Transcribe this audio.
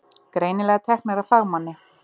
Greinilega teknar af fagmanni.